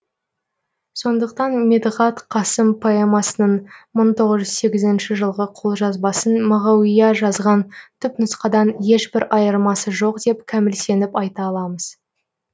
сондықтан медіғат қасым поэмасының мың тоғыз жұз сегізінші жылғы қолжазбасын мағауия жазған түпнұсқадан ешбір айырмасы жоқ деп кәміл сеніп айта аламыз